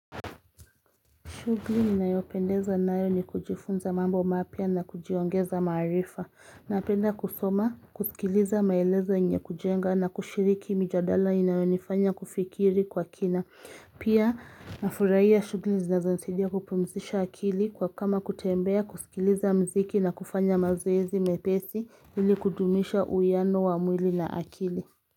Shughuli ninayopendezwa nayo ni kujifunza mambo mapya na kujiongeza maarifa. Napenda kusoma, kusikiliza maelezo yenyekujenga na kushiriki mijadala inayonifanya kufikiri kwa kina. Pia ninafurahia shughuli zinazonisaidia kupumzisha akili kama kutembea kusikiliza muziki na kufanya mazoezi mepesi ili kudumisha uwiano wa mwili na akili.